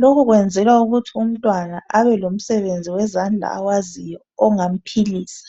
lokhu kwenzelwa ukuthi umntwana abe lomsebenzi wezandla awaziyo ongamphilisa.